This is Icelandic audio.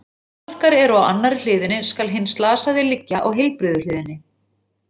Þegar áverkar eru á annarri hliðinni, skal hinn slasaði liggja á heilbrigðu hliðinni.